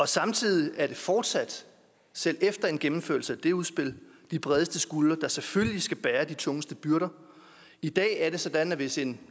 samtidig er det fortsat selv efter en gennemførelse af det udspil de bredeste skuldre der selvfølgelig skal bære de tungeste byrder i dag er det sådan at hvis en